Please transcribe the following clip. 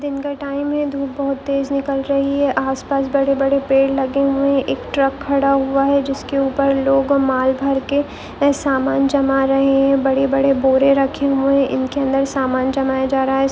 दिन का टाइम है धुप बहुत तेज निकल रही है आसपास बड़े-बड़े पेड़ लगे हुए है एक ट्रक खडा हुआ है जिसके ऊपर लोग माल भरके वे सामान जमा रहे है बड़े बड़े बोरे रखे हुए है इनके अंदर सामान जमाया जा रहा है।